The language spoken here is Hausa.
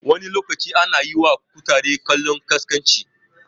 Wani lokacin ana yiwa kutare kallon ƙasƙanci